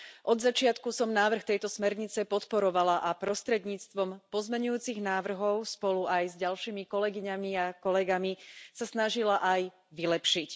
Od začiatku som návrh tejto smernice podporovala a prostredníctvom pozmeňujúcich návrhov aj spolu s ďalšími kolegyňami a kolegami sa snažila ju vylepšiť.